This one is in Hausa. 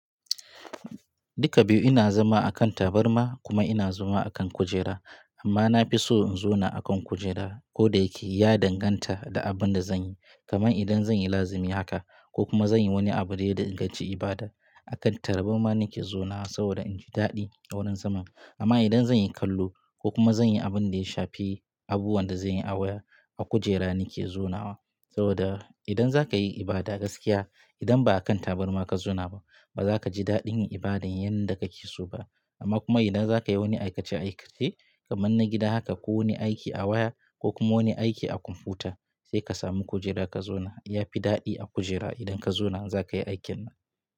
Duka biyu ina zama akan tabarma kuma ina zama akan kujera amma na fi so in zauna akan kujera koda yake ya danganta da abin da zan yi. Kaman idan zan yi lazimi haka ko kuma zan yi wani abu da ya danganci ibada akan tabarma nake zaunawa saboda in ji daɗi awurin zaman. Amma idan zan yi kallo ko kuma zan yi abin da ya shafi abubuwan da zan yi awaya, a kujera nake zaunawa. Saboda idan za ka yi ibada gaskiya, idan ba a kan tabarma ka zauna ba, ba za ka ji daɗin yin ibadan yanda ka ke so ba. Amma kuma idan za ka yi wani aikace-aikace kaman na gida haka ko wani aiki awaya ko kuma wani aiki a kwamfuta sai ka samu kujera ka zauna. Ya fi daɗi a kujera idan ka zauna za ka yi aikin.